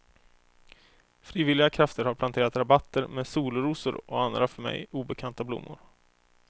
Frivilliga krafter har planterat rabatter med solrosor och andra för mig obekanta blommor.